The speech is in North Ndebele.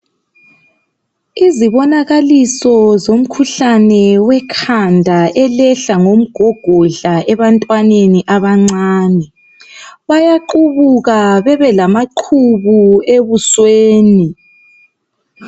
Izibonakaliso zomkhuhlane wekhanda elehla ngomgogodla ebantwaneni abancane bayaqubuka bebe lamaqhubu ebusweni